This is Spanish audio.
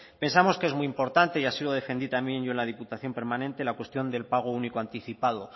pensamos que es muy importante y ha sido lo defendí también yo en la diputación permanente la cuestión del pago único anticipado